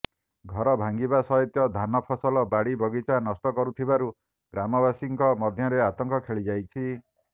ଘର ଭାଙ୍ଗିବା ସହିତ ଧାନ ଫସଲ ବାଡି ବଗିଚା ନଷ୍ଟ କରୁଥିବାରୁ ଗ୍ରାମବାସୀଙ୍କ ମଧ୍ୟରେ ଅତଙ୍କ ଖେଳି ଯାଇଛି